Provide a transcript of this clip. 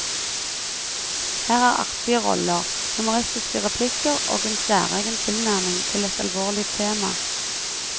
Her er artige roller, humoristiske replikker og en særegen tilnærming til et alvorlig tema.